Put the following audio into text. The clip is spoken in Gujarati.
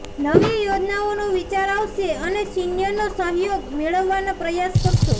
નવી યોજનાઓનો વિચાર આવશે અને સીનિયરનો સહયોગ મેળવવાના પ્રયાસ કરશો